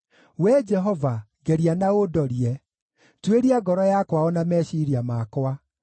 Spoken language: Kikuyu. Wee Jehova, ngeria na ũndorie, tuĩria ngoro yakwa o na meciiria makwa;